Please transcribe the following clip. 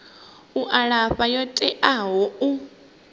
u alafha yo teaho u